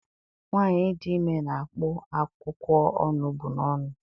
Nwaanyị dị ime na-akpụ akwụkwọ onugbu n'ọnụ.